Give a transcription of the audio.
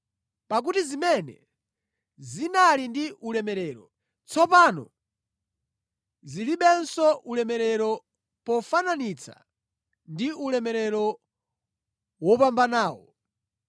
Pakuti zimene zinali ndi ulemerero, tsopano zilibenso ulemerero pofananitsa ndi ulemerero wopambanawo.